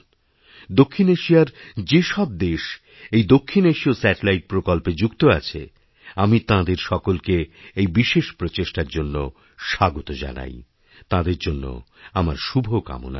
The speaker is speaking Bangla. দক্ষিণ এশিয়ার যেসব দেশ এই দক্ষিণএশীয় স্যাটেলাইট প্রকল্পে যুক্ত আছে আমি তাঁদের সকলকে এই বিশেষ প্রচেষ্টার জন্যস্বাগত জানাই তাঁদের জন্য আমার শুভকামনা রইল